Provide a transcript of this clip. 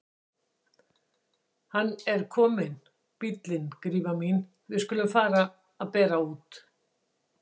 Hann er kominn bíllinn Gríma mín, við skulum fara að bera út.